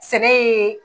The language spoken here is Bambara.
Sɛnɛ ye